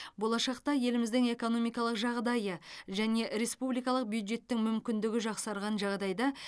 болашақта еліміздің экономикалық жағдайы және республикалық бюджеттің мүмкіндігі жақсарған жағдайда